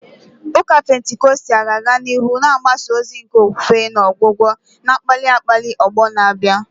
Ụka Pentikọstal ga-aga n'ihu na-agbasa ozi nke okwukwe na ọgwụgwọ, na-akpali akpali ọgbọ na-abịa.